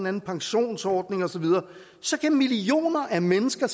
anden pensionsordning osv så kan millioner af mennesker